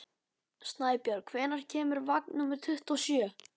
Snæbjörg, hvenær kemur vagn númer tuttugu og sjö?